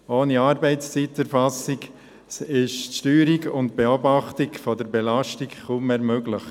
Ohne Arbeitszeiterfassung sind die Steuerung und die Beobachtung der Belastung kaum mehr möglich.